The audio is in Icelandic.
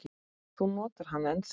Þú notar hana ennþá.